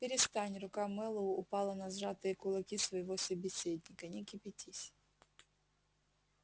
перестань рука мэллоу упала на сжатые кулаки своего собеседника не кипятись